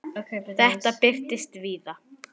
Þetta birtist víða.